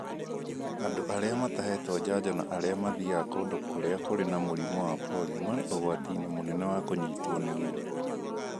Andũ arĩa matahetwo njanjo na arĩa mathiaga kũndũ kũrĩa kũrĩ na mũrimũ wa polio marĩ ũgwati-inĩ mũnene wa kũnyitwo nĩguo.